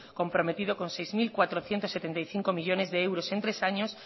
comprometido con seis mil cuatrocientos setenta y cinco millónes de euros en tres años